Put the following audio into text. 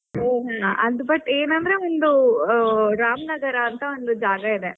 ಹ್ಮ್ ಅದ್ but ಏನಂದ್ರೆ ಒಂದು ರಾಮ್ನಗರ ಅಂತ ಒಂದು ಜಾಗ ಇದೆ.